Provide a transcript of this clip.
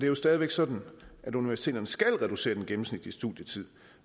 jo stadig væk sådan at universiteterne skal reducere den gennemsnitlige studietid